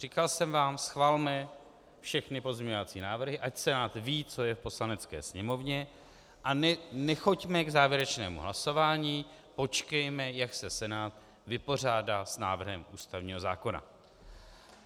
Říkal jsem vám: schvalme všechny pozměňovací návrhy, ať Senát ví, co je v Poslanecké sněmovně, a nechoďme k závěrečnému hlasování, počkejme, jak se Senát vypořádá s návrhem ústavního zákona.